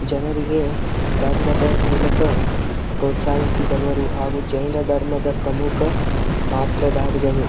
ಜನರಿಗೆ ಧರ್ಮದ ಮೂಲಕ ಪ್ರೋತ್ಸಾಹಿಸಿದವರು ಹಾಗು ಜೈನ ಧರ್ಮದ ಪ್ರಮುಖ ಪಾತ್ರಧಾರಿಗಳು .